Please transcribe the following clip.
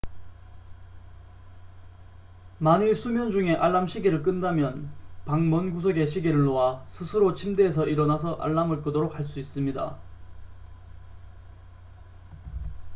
만일 수면 중에 알람 시계를 끈다면 방 먼 구석에 시계를 놓아 스스로 침대에서 일어나서 알람을 끄도록 할 수 있습니다